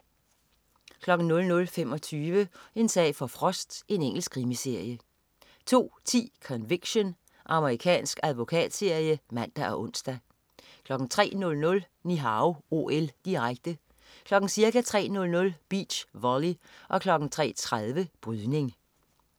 00.25 En sag for Frost. Engelsk krimiserie 02.10 Conviction. Amerikansk advokatserie (man og ons) 03.00 Ni Hao OL, direkte. Ca. kl. 03.00: Beach volley og kl. 03.30: Brydning